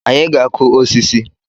Anyị ga-akụ osisi